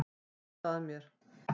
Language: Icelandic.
Brosa að mér!